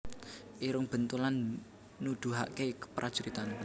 Irung Bentulan Nuduhaké keprajuritan